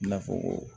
I n'a fɔ